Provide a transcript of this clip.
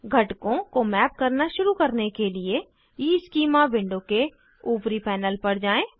घटकों को मैप करना शुरू करने के लिए ईस्कीमा विंडो के ऊपरी पैनल पर जाएँ